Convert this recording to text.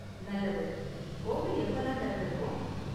நல்லது! கோவில் எப்பலாம் தெறந்திருக்கும்?